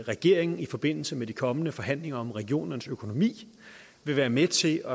regeringen i forbindelse med de kommende forhandlinger om regionernes økonomi vil være med til